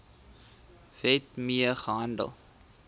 wet mee gehandel